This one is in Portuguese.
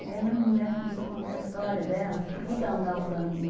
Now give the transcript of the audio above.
E aí a mulher começou a contar a história dela, por que ela não estava falando comigo?